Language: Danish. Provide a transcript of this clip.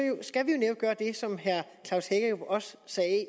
skal vi netop gøre det som herre klaus hækkerup også sagde